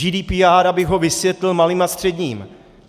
GDPR, abych ho vysvětlil malým a středním.